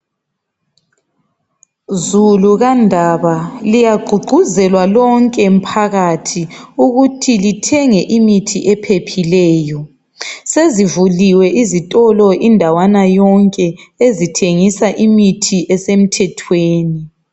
Zulukandaba liyagqugquzelwa lokhe mphakathi ukuthi lithenge imithi ephephileyo, sezivuliwe izitolo indawana yonke ezithengisa imithi esemthethweni.